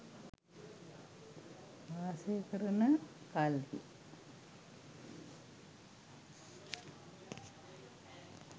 වාසය කරන කල්හි